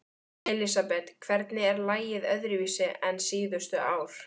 Elísabet: Hvernig er lagið öðruvísi en síðustu ár?